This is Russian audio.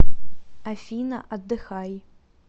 афина отдыхай